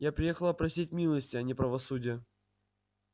я приехала просить милости а не правосудия